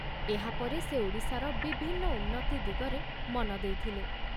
ଏହାପରେ ସେ ଓଡ଼ିଶାର ବିଭିନ୍ନ ଉନ୍ନତି ଦିଗରେ ମନ ଦେଇଥିଲେ।